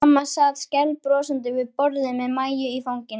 Mamma sat skælbrosandi við borðið með Maju í fanginu.